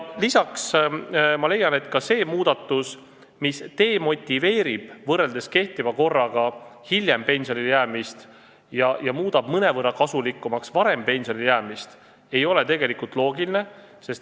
Lisaks ma leian, et ka see muudatus, mis demotiveerib jääma pensionile hiljem, kui pensioniiga käes, ja muudab mõnevõrra kasulikumaks varem pensionile jäämist, ei ole loogiline.